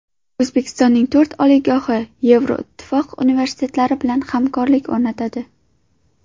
O‘zbekistonning to‘rt oliygohi Yevroittifoq universitetlari bilan hamkorlik o‘rnatadi.